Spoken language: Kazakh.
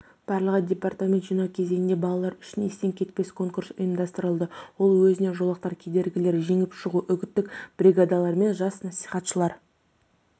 барлығы департаментімен жинау кезеңінде балалар үшін естен кетпес конкурсы ұйымдастырылды ол өзіне жолақтар кедергілерін жеңіп шығу үгіттік бригадалар мен жас насихатшылар